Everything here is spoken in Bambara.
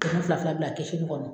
fila fila bila kɛsinin kɔnɔ.